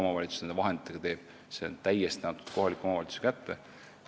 See, mida nende vahenditega teha, on täiesti kohaliku omavalitsuse kätesse antud.